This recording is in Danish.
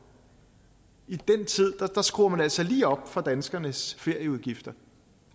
i den tid skruer man altså lige op for danskernes ferieudgifter